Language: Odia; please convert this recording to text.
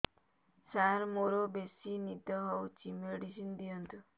ସାର ମୋରୋ ବେସି ନିଦ ହଉଚି ମେଡିସିନ ଦିଅନ୍ତୁ